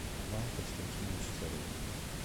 иван константинович царев